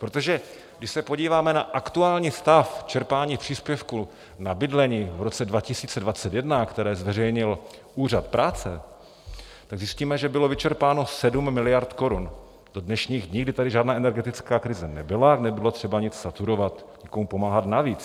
Protože když se podíváme na aktuální stav čerpání příspěvku na bydlení v roce 2021, které zveřejnil Úřad práce, tak zjistíme, že bylo vyčerpáno 7 miliard korun do dnešních dní, kdy tady žádná energetická krize nebyla, nebylo třeba nic saturovat, nikomu pomáhat navíc.